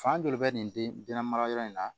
Fan dɔ de bɛ nin denna mara yɔrɔ in na